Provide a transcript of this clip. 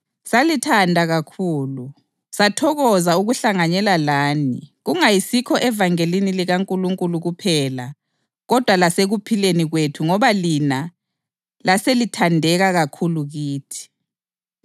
Salithanda kakhulu, sathokoza ukuhlanganyela lani kungayisikho evangelini likaNkulunkulu kuphela kodwa lasekuphileni kwethu ngoba lina laselithandeka kakhulu kithi.